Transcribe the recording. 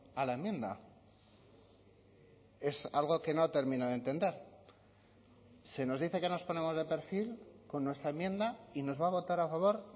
a la enmienda es algo que no termino de entender se nos dice que nos ponemos de perfil con nuestra enmienda y nos va a votar a favor